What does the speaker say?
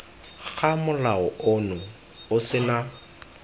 ga molao ono o sena